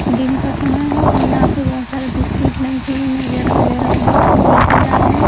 दिन का समय है और यहां पे बहुत सारे बिस्किट लमकीन वगैरह वगैरह बहुत कुछ बेचे जा रहे हैं ।